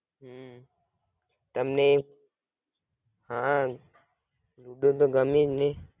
હમ તમને હાં લુડો તો ગમે જ ને